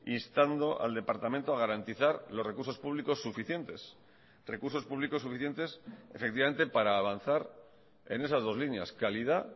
instando al departamento a garantizar los recursos públicos suficientes recursos públicos suficientes efectivamente para avanzar en esas dos líneas calidad